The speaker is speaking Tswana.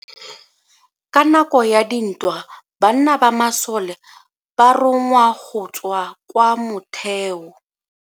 Ka nako ya dintwa banna ba masole ba rongwa go tswa kwa motheo.